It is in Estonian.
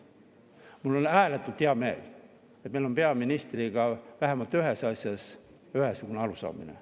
Mul on ääretult hea meel, et meil on peaministriga vähemalt ühes asjas ühesugune arusaamine.